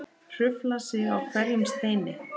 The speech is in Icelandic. Hrufla sig á hverjum steini.